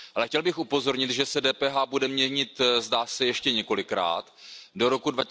Ale chtěl bych upozornit, že se DPH bude měnit, zdá, se ještě několikrát do roku